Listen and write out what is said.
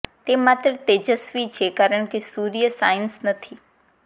તે માત્ર તેજસ્વી છે કારણ કે સૂર્ય શાઇન્સ નથી